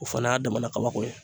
O fana y'a damana kabako ye